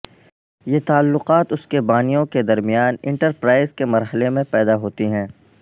یہ تعلقات اس کے بانیوں کے درمیان انٹرپرائز کے مرحلے میں پیدا ہوتی ہیں